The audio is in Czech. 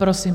Prosím.